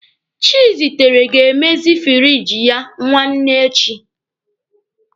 Chizitere ga-emezi firiji ya nwanne echi.